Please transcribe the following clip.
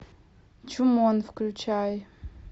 чумон включай